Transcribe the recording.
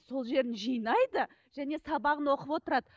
сол жерін жинайды және сабағын оқып отырады